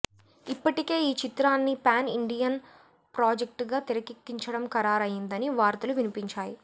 ఇప్పటికే ఈ చిత్రాన్ని పాన్ ఇండియన్ ప్రాజెక్ట్ గా తెరకెక్కించడం ఖరారు అయ్యిందని వార్తలు వినిపించాయి